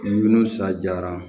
Nun sa jara